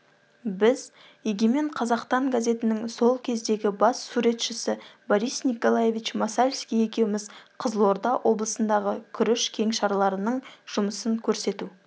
біз егемен қазақтан газетінің сол кездегі бас суретшісі борис николаевич масальский екеуміз қызылорда облысындағы күріш кеңшарларының жұмысын көрсету